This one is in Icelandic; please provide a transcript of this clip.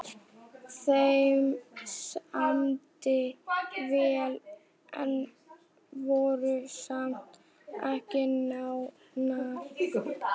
Þeim samdi vel en voru samt ekki nánar.